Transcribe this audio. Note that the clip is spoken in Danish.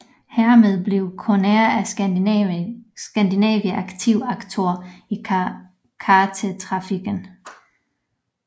Hermed blev Conair of Scandinavia aktiv aktør i chartertrafikken